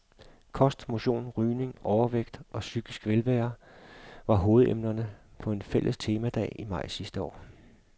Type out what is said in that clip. Kost, motion, rygning, overvægt og psykisk velvære var hovedemnerne på en fælles temadag i maj sidste år.